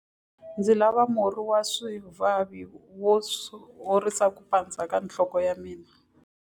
Ndzi lava murhi wa swivavi wo horisa ku pandza ka nhloko ya mina.